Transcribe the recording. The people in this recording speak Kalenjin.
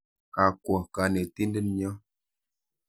Ga kwo kanetindet nyo.